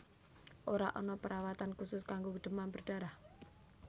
Ora ana perawatan khusus kanggo demam berdarah